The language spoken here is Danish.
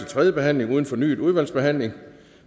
tredje behandling uden fornyet udvalgsbehandling